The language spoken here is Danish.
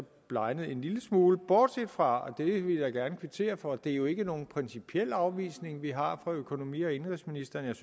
blegnet en lille smule bortset fra det vil jeg gerne kvittere for at det jo ikke er nogen principiel afvisning vi har fra økonomi og indenrigsministerens